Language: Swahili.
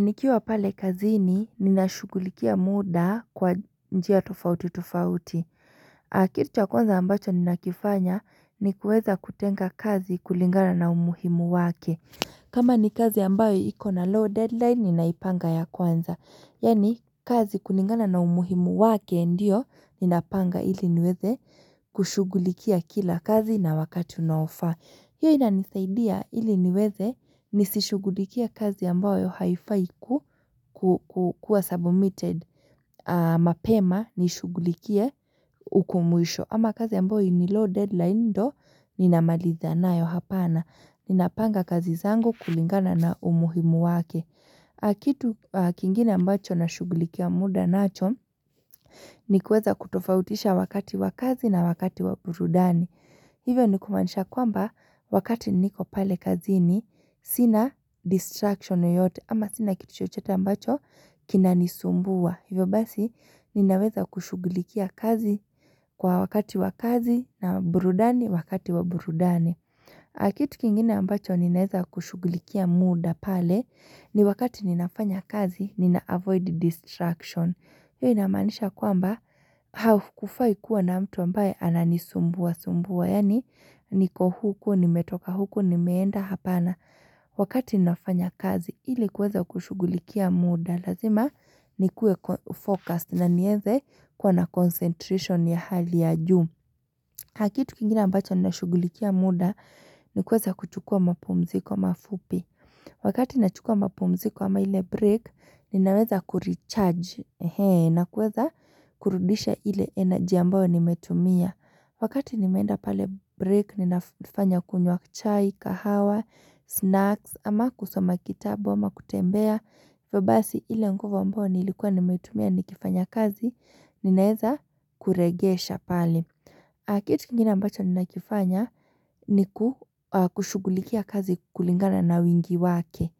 Nikiwa pale kazini nina shughulikia muda kwa njia tofauti tofauti. Kitu cha kwanza ambacho nina kifanya ni kuweza kutenga kazi kulingana na umuhimu wake kama ni kazi ambayo iko na low deadline ninaipanga ya kwanza. Yani kazi kulingana na umuhimu wake ndiyo ninapanga ili niweze kushugulikia kila kazi na wakati unaofa hiyo inanisaidia iliniweze nisishugulikie kazi ambayo haifaiku kukua submitted mapema nishugulikia uku mwisho ama kazi ambayo ni low deadline ndo ninamaliza nayo hapana ninapanga kazi zangu kulingana na umuhimu wake kitu kingine ambacho na shugulikia muda nacho ni kueza kutofautisha wakati wakazi na wakati waburudani Hivyo ni kumanisha kwamba wakati niko pale kazini sina distraction yoyote ama sina kitu chochote ambacho kinanisumbua. Hivyo basi ninaweza kushugulikia kazi kwa wakati wa kazi na burudani wakati wa burudani. Ah kitu kingine ambacho ninaweza kushugulikia muda pale ni wakati ninafanya kazi nina avoid distraction. Hiyo inamaanisha kwamba hakukufai kua na mtu ambaye anani sumbua sumbua. Yani niko huku, nimetoka huku, nimeenda hapana. Wakati ninafanya kazi, hili kuweza kushugulikia muda. Lazima nikuwe focused na nieze kuwa na concentration ya hali ya juu. Haa kitu kingine ambacho nashugulikia muda, nikuweza kuchukua mapumziko mafupi. Wakati nachukua mapumziko ama ile break, ninaweza kurecharge. Na kuweza kurudisha ile energy ambao nimetumia wakati nimeenda pale break ninafanya kunywa chai, kahawa, snacks ama kusoma kitabu, ama kutembea hivo basi ile nguvu ambao nilikuwa nimetumia nikifanya kazi, ninaeza kuregesha pale kitu kingine ambacho ninakifanya ni ku kushugulikia kazi kulingana na wingi wake